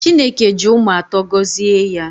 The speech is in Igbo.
Chineke ji ụmụ atọ gọzie ya